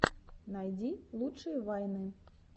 найди лучшие вайны